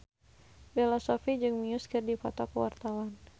Bella Shofie jeung Muse keur dipoto ku wartawan